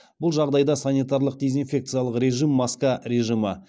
бұл жағдайда санитарлық дезинфекциялық режим маска режимі